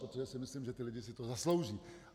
Protože si myslím, že ti lidé si to zaslouží.